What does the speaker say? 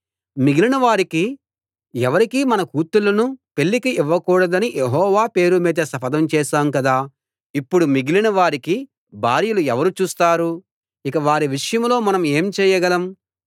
మిగిలిన వారికి ఎవరికీ మన కూతుళ్ళను పెళ్ళికి ఇవ్వకూడదని యెహోవా పేరుమీద శపథం చేశాం కదా ఇప్పుడు మిగిలిన వారికి భార్యలు ఎవరు చూస్తారు ఇక వారి విషయంలో మనం ఏం చేయగలం